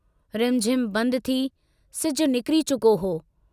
रिमझिम बंदि थी सिजु निकिरी चुको हो।